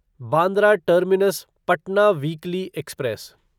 Bandra terminus Patna weekly express